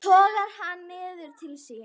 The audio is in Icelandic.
Togar hann niður til sín.